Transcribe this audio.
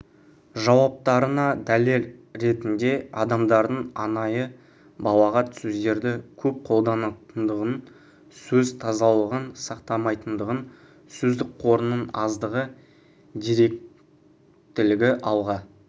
жауаптарына дәлел ретінде адамдардың анайы балағат сөздерді көп қолданатындығын сөз тазалығын сақтамайтындығын сөздік қорының аздығы дөрекілікті алға